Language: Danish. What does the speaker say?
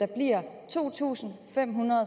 to tusind fem hundrede